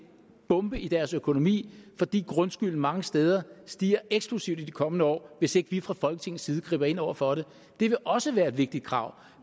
bombe i deres økonomi fordi grundskylden mange steder stiger eksplosivt i de kommende år hvis ikke vi fra folketingets side griber ind over for det det vil også være et vigtigt krav